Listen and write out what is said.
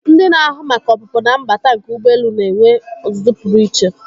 Ndị na-ahụ maka ọpụpụ na mbata nke ụgbọelu na-enwe ọzụzụ pụrụ iche.